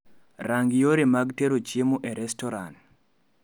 Rang yore mag tero chiemo e restoran